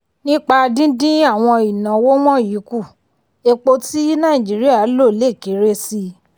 nípa dídín àwọn ìnáwó wọ̀nyí kù epo tí nàìjíríà lò lè kéré sí.